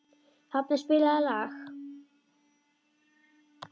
Hafni, spilaðu lag.